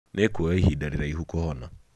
Nĩ ĩkuoya ihinda rĩraihu kũhona.